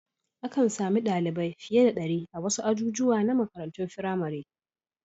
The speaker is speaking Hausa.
Akan sami ɗalibai fiye da ɗari a wasu ajujuwa na makarantun firamare.